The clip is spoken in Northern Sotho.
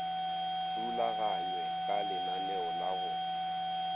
rulaganywe ka lenaneo la go